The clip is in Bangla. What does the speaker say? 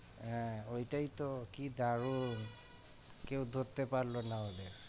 হ্যাঁ ওইটাই তো কি দারুন কেউ ধরতে পারলো না ওদের।